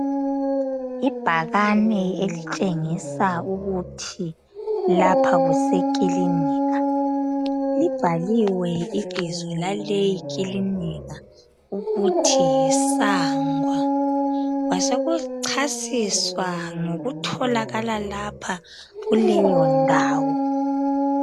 ibhakane elitshengisa ukuthi lapha kuse kilinika libhaliwe ibizo laleyi kilinika ukuthi yi SANGWA kwa soku chasiswa ngokutholakala lapho kuleyo ndawo